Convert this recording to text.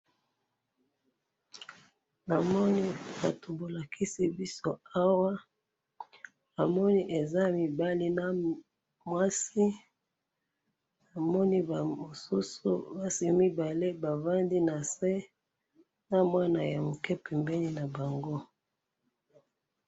namoni batu bolakisi biso awa namoni eza mibali na mwasi namoni ba mosusu basi mibale bavandi nase na mwana ya muke pembeni nabango